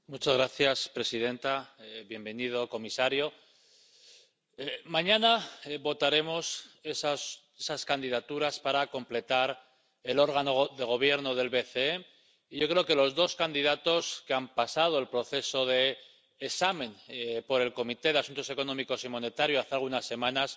Señora presidenta, bienvenido, comisario, mañana votaremos esas candidaturas para completar el órgano de gobierno del BCE, y yo creo que los dos candidatos que han pasado el proceso de examen por la Comisión de Asuntos Económicos y Monetarios, hace algunas semanas,